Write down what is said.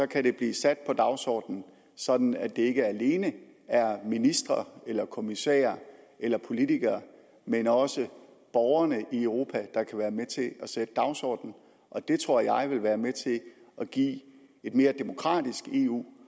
kan blive sat på dagsordenen sådan at det ikke alene er ministre eller kommissærer eller politikere men også borgerne i europa der kan være med til at sætte dagsordenen det tror jeg vil være med til at give et mere demokratisk eu